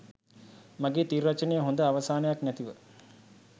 මගේ තිර රචනය හොඳ අවසානයක් නැතිව